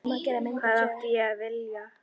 Hvað átti ég að vilja?